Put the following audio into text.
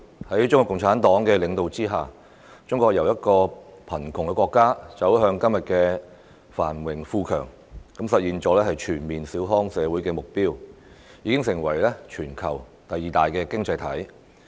在中國共產黨領導之下，中國由貧窮的國家走向今天的繁榮富強，實現了全面小康社會的目標，並已成為全球第二大經濟體。